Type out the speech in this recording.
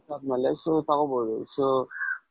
ಅದಮೇಲೆ so ತಗೋಬಹುದು so,